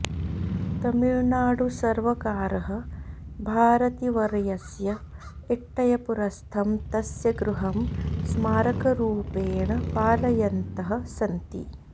तमिळ्नाडुसर्वकारः भारतीवर्यस्य एट्टयपुरस्थं तस्य गृहं स्मारकरूपेण पालयन्तः सन्ति